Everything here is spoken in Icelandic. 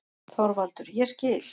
ÞORVALDUR: Ég skil.